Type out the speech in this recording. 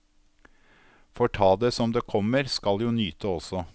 Får ta det som det kommer, skal jo nyte også.